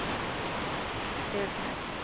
ef. ness